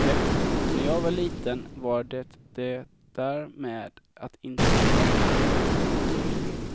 När jag var liten var det det där med att inte prata med främmande.